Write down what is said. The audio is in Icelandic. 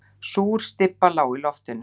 Súr stybba lá í loftinu.